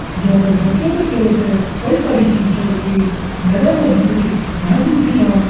जेपर बच्चों ते खेलन्ते कई सारी चीज छन रखीं मैदान माजी कुछ घास भी उगयूं छा।